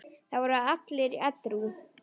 Það voru allir edrú.